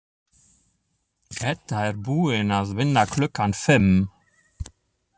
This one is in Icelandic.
Edda er búin að vinna klukkan fimm.